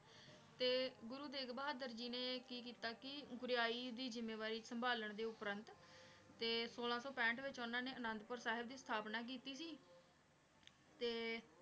ਤੇਗ ਬਹਾਦੁਰ ਜੀ ਨੇ ਕੀ ਕੀਤਾ ਕੀ ਪੁਰੀ ਦੀ ਜ਼ਿਮਾਵਾਰੀ ਸੰਭਾਲਾਂ ਦੇ ਉਪਰੰਤ ਟੀ ਸੋਲਾਂ ਸੋ ਪੰਥ ਵਿਚ ਓਨਾਂ ਨੇ ਅਨਾਦ ਪੂਰ ਸਾਹਿਬ ਦੀ ਅਸ੍ਥਾਪ੍ਨਾ ਕੀਤੀ ਸੀ ਤੇ